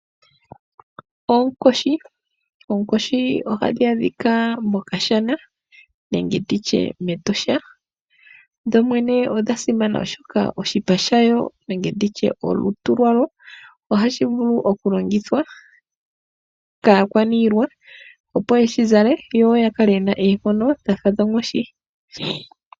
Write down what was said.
Oonkoshi Oonkoshi ohadhi adhika mokashana nenge nditye mEtosha, dho dhene odha simana oshoka oshipa shayo nenge nditye olutu lwayo ohashi vulu oku longithwa kaakwaniilwa opo yeshi zale, yo ya kale yena oonkondo dhafa dhonkoshi.